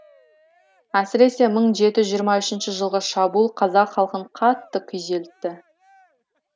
әсіресе мың жеті жүз жиырма үшінші жылғы шабуыл қазақ халқын қатты күйзелтті